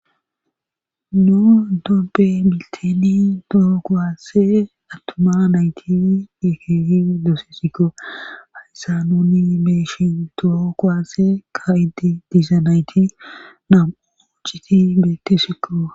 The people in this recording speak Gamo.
nu dobe milteni toho koasse attoma nayti dikegi doosessikko hayssa nuni meshin toho kwasee ka idi diisa nayti nam7o citi beetesikko